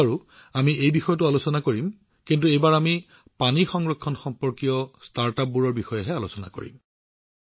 এইবাৰো আমি এই বিষয়টো উত্থাপন কৰিম কিন্তু এইবাৰ আমি পানী সংৰক্ষণ সম্পৰ্কীয় ষ্টাৰ্টআপবোৰৰ বিষয়ে আলোচনা কৰিম